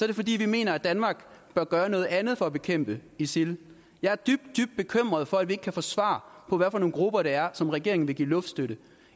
det fordi vi mener at danmark bør gøre noget andet for at bekæmpe isil jeg er dybt dybt bekymret for at vi ikke kan få svar på hvad for nogle grupper det er som regeringen vil give luftstøtte